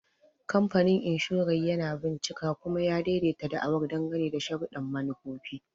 Kamfanin Inshorar yana bincika kuma ya daidaita da'awar dangane da sharuɗɗan manufofi.